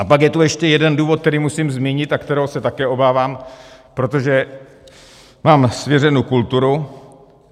A pak je tu ještě jeden důvod, který musím zmínit a kterého se také obávám, protože mám svěřenu kulturu.